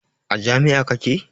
A jami'a kake?